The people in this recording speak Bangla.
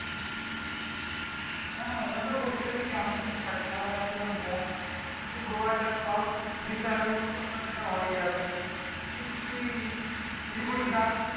হ্যাঁ ওরাও তো বলছিল যে কেমন কি খরচা হবে আমিও বললাম দেখ যদি তুইই গোয়া জাস তাও ত্রিশ হাজার মতন তো খরচা হয়েই যাবে এই ক্ষেত্রে তুই শিলিগুড়ি জাস